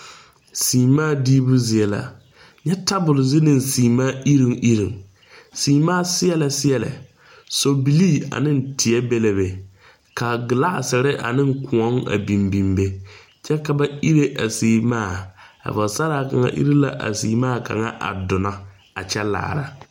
Semaa diibu zie la. Kyɛ tabul zu ne semaa irruŋ irruŋ. Semaa seɛlɛ seɛlɛ. Sɔ bilii ane tiɛ be la be. Ka gilasere ane koɔ a biŋ biŋ be. Kyɛ ka ba irrɛ a semaa. A pɔgɔsaraa kanga irre la a semaa kanga a duno a kyɛ laara